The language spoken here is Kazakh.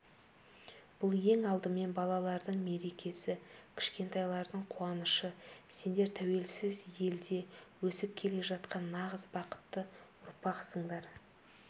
бұл ең алдымен балалардың мерекесі кішкентайлардың қуанышы сендер тәуелсіз елде өсіп келе жатқан нағыз бақытты ұрпақсыңдар